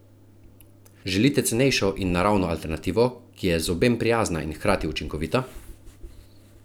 Želite cenejšo in naravno alternativo, ki je zobem prijazna in hkrati učinkovita?